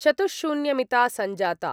चतुश्शून्यमिता सञ्जाता।